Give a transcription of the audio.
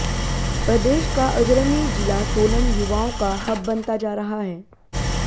प्रदेश का अग्रणी जिला सोलन युवाओं का हब बनता जा रहा है